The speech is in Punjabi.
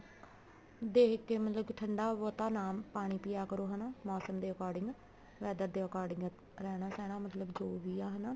ਦੇਖ ਕੇ ਮਤਲਬ ਠੰਡਾ ਬਹੁਤਾ ਨਾ ਪਾਣੀ ਪਿਆ ਕਰੋ ਹਨਾ ਮੋਸਮ ਦੇ according weather ਦੇ according ਰਹਿਣਾ ਸਹਿਣਾ ਮਤਲਬ ਜੋ ਵੀ ਆ ਹਨਾ